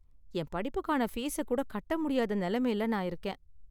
என் படிப்புக்கான பீஸை கூட கட்ட முடியாத நிலைமையில நான் இருக்கேன்.